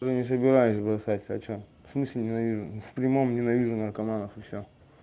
не собираюсь бросать хочу в смысле ненавижу в прямом ненавижу наркоманов и все